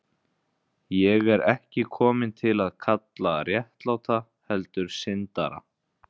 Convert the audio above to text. Ég er ekki kominn til að kalla réttláta, heldur syndara.